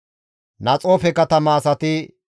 Harime katama asati 320,